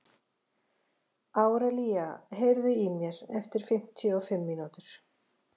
Árelía, heyrðu í mér eftir fimmtíu og fimm mínútur.